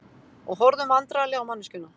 Og horfðum vandræðaleg á manneskjuna.